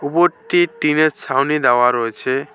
উপরটি টিনের ছাউনি দেওয়া রয়েছে।